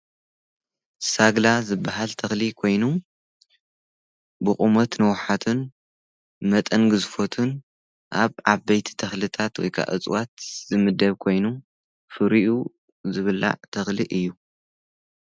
ሳግላ ዝበሃል ተክሊ ኮይኑ ብቑሞት ንወኃትን መጠን ግዝፎትን ኣብ ዓ በይቲ ተኽልታት ወይቃ እጽዋት ዝምደብ ኮይኑ ፍሪዩ ዝብላዕ ተክሊ እዩ።